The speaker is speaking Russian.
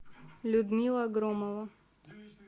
людмила громова